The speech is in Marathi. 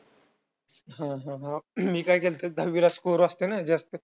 हा हा हा. मी काय केलंत दहावीला score असतोय ना जास्त.